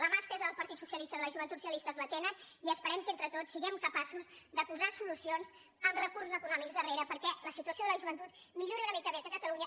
la mà estesa del partit socialista i de les joventuts socialistes la tenen i esperem que entre tots siguem capaços de posar solucions amb recursos econòmics darrere perquè la situació de la joventut millori una mica més a catalunya